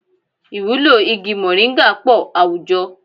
Ìwúlò igi mọ̀nríńgà pọ̀ àwùjọ